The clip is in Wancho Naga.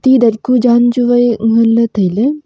edat ku jan chuwai ngan ley tailey.